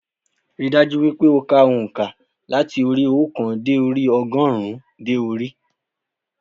Rí i dájú wípé o ka ònkà láti orí óòkan dé orí ogórùn ún dé orí i